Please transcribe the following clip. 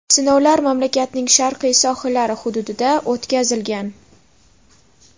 Sinovlar mamlakatning sharqiy sohillari hududida o‘tkazilgan.